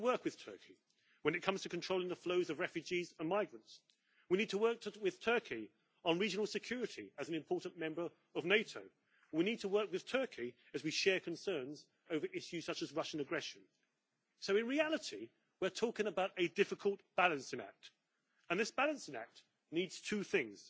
We need to work with Turkey when it comes to controlling the flows of refugees and migrants and we need to work with Turkey on regional security as an important member of NATO. We need to work with Turkey as we share concerns over issues such as Russian aggression. So, in reality, we are talking about a difficult balancing act and this balancing act needs two things.